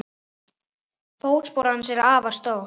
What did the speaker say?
Fótspor hans er afar stórt.